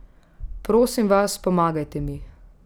Prosim vas, pomagajte mi.